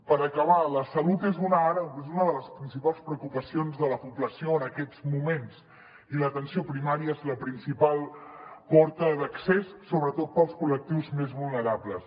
per acabar la salut és una de les principals preocupacions de la població en aquests moments i l’atenció primària n’és la principal porta d’accés sobretot per als col·lectius més vulnerables